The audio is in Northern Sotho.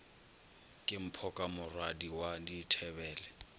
ke mphoka morwadi wa dithebele